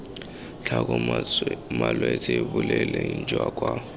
tlhoka malwetse boleng jwa kwa